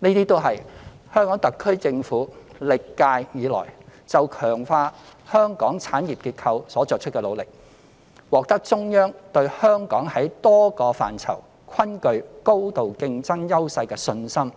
這些均是香港特區政府歷屆以來就強化香港產業結構所作出的努力，且獲得中央對香港在多個範疇均具高度競爭優勢的信心